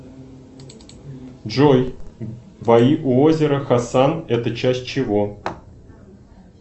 джой бои у озера хасан это часть чего